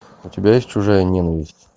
у тебя есть чужая ненависть